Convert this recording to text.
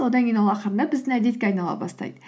одан кейін ол ақырындап біздің әдетке айнала бастайды